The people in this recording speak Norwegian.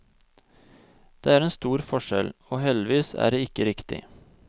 Det er en stor forskjell, og heldigvis er det ikke riktig.